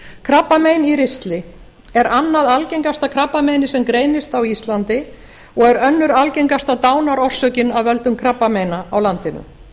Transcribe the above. krabbamein í ristli er annað algengasta krabbameinið sem greinist á íslandi og er önnur algengasta dánarorsökin af völdum krabbameina á landinu